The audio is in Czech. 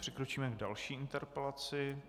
Přikročíme k další interpelaci.